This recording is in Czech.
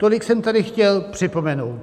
Tolik jsem tedy chtěl připomenout.